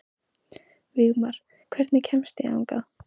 Vígmar, hvernig kemst ég þangað?